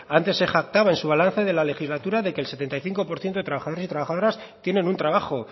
antes se jactaba de su balance de la legislatura de que el setenta y cinco por ciento de trabajadores y trabajadoras tienen un trabajo